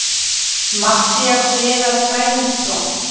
Matthías Viðar Sæmundsson.